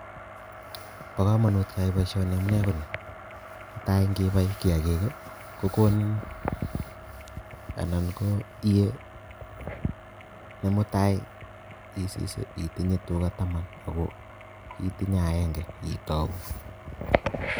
Bo komonut keyai boisioni amune koni, netai ngibai kiagik ii kokonin ana koyie nemutai isis itinye tuga taman ako kiitinye agenge itou